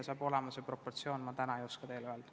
Täpsemalt ma täna ei oska teile öelda.